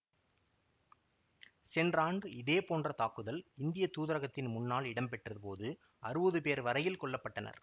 சென்ற ஆண்டு இதே போன்ற தாக்குதல் இந்திய தூதரகத்தின் முன்னால் இடம்பெற்ற போது அறுவது பேர் வரையில் கொல்ல பட்டனர்